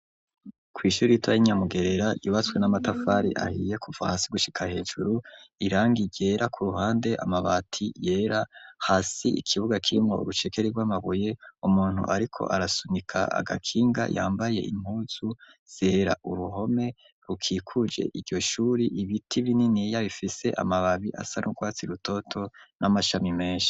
Kw'ishuri riitoyi nyamugerera ibatswe n'amatafari ahiye kuva hasi gushika hejuru irangi igera ku ruhande amabati yera hasi ikibuga c'imwe urucekeri rw'amabuye umuntu ariko arasunika agakinga yambaye intuzu zera uruhome rukikuje iyoshuri ibiti bininiya bifise amababi asa n'urwatsi rutoto n'amashami menshi.